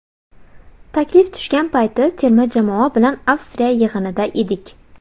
Taklif tushgan payti terma jamoa bilan Avstriya yig‘inida edik.